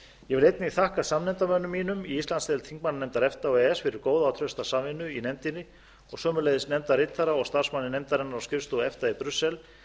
vil einnig þakka samnefndarmönnum mínum í íslandsdeild þingmannanefndar efta og e e s fyrir góða og trausta samvinnu í nefndinni og sömuleiðis nefndarritara og starfsmanni nefndarinnar á skrifstofu efta í brussel